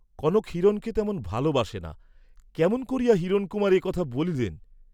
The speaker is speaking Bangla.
কনক হিরণকে তেমন ভাল বাসে না, কেমন করিয়া হিরণকুমার এ কথা বলিলেন!